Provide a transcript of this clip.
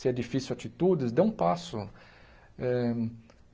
Se é difícil atitudes, dê um passo. Eh